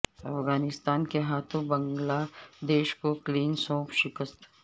افغانستان کے ہاتھوں بنگلا دیش کو کلین سوئپ شکست